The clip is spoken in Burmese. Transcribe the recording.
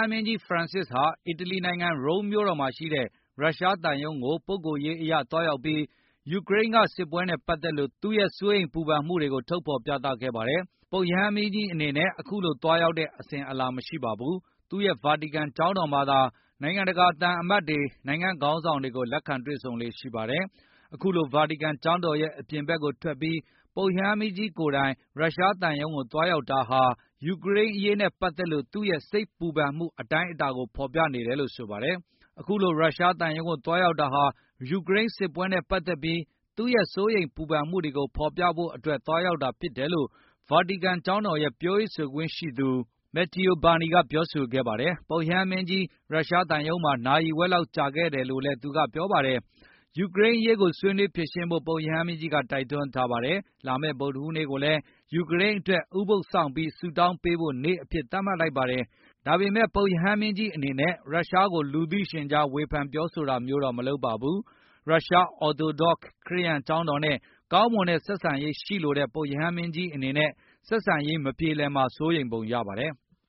မင်းကြီး ဖရန်စစ်ဟာ အီတလီနိုင်ငံ Rome မြို့တော်မှာရှိတဲ့ ရုရှားသံရုံးကို ပုဂ္ဂိုလ်ရေးအရသွားရောက်ပြီး ယူကရိန်းက စစ်ပွဲနဲ့ပတ်သက်လို့သူရဲ့စိုးရိမ်ပူပန်မှုကို ဖေါ်ပြခဲ့ပါတယ်။ ပုပ်ရဟန်းမင်းကြီးဟာ အခုလို သွားရောက်တဲ့ အစဉ်အလာမရှိပါဘူး။ သူ့ရဲ့ ဗာတီကန် ကျောင်းတော်မှာသာ နိုင်ငံတကာကသံအမတ်တွေ၊ နိုင်ငံခေါင်းဆောင်တွေကို လက်ခံ တွေ့ဆုံလေ့ရှိပါတယ်။ အခုလို ဗာတီကန်ကျောင်းတော်ရဲ့ အပြင်ဘက်ကိုထွက်ပြီး ပုပ်ရဟန်းမင်းကြီးကိုယ်တိုင် ရရှားသံရုံးကိုသွားရောက်တာဟာ ယူကရိန်းအရေးနဲ့ပတ်သက်ပြီး သူ့ရဲ့စိတ်ပူပန်မှု အတိုင်းအတာကိုဖေါ်ပြနေတာဖြစ်ပါတယ်။ အခုလိုရုရှားသံရုံးကိုသွားရောက်တာဟာ ယူကရိန်းစစ်ပွဲနဲ့ ပတ်သက်ပြီး သူရဲ့စိုးရိမ်ပူပန်မှု တွေကိုဖေါ်ပြဖို့အတွက်သွားရောက်တာဖြစ်တယ်လို့ ဗာတီကန်ကျောင်းတော်ရဲ့ပြောရေး ဆိုခွင့်ရှိသူ Matteo Burni ကပြောဆိုခဲ့ပါတယ်။ ပုပ်ရဟန်းမင်းကြီး ရုရှားသံရုံးမှာ နာရီဝက်လောက်ကြာခဲ့တယ်လို့လည်းသူကပြောဆိုပါတယ်။ ယူကရိန်းအရေးကိုဆွေးနွေးဖြေရှင်းဖို့ပုပ်ရဟန်းမင်းကြီးကတိုက်တွန်းထားပါတယ်။ လာမယ့်ဗုဒ္ဓဟူးနေ့ကိုလည်း ယူကရိန်းအတွက်ဥပုပ်စောင့်ပြီးဆုတောင်းပေးဖိုနေ့ အဖြစ်သတ်မှတ်လိုက်ပါတယ်။ ဒါပေမယ့်လည်း ပုပ်ရဟန်းမင်းကြီးအနေနဲ့ ရုရှားကိုလူသိရှင်ကြားဝေဖန်တာမျိုးတော့မလုပ်ပါဘူး။ ရုရှားအော်သိုဒေါ့ ခရစ်ယန်ကျောင်းတော်နဲ့ ကောင်းမွန်တဲ့ဆက်ဆံရေးရှိလိုတဲ့ ပုပ်ရဟန်းမင်းကြီးအနေနဲ့ ဆက်ဆံရေးမပြေလည်မှာကို စိုးရိမ်ပုံရပါတယ်။